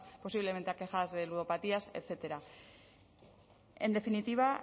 posiblemente aquejadas de ludopatías etcétera en definitiva